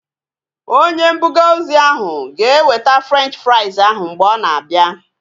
Onye mbuga ozi ahu ga-eweta Frenchi frais ahu mgbe ọ na-abia